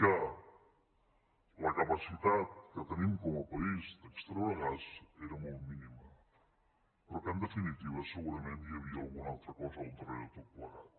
que la capacitat que tenim com a país d’extreure gas era molt mínima però que en definitiva segurament hi havia una altra cosa al darrere de tot plegat